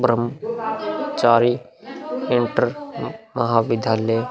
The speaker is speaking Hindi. ब्रह्म चारी इंटर म-महाविद्यालय --